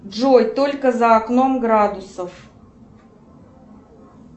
джой сколько за окном градусов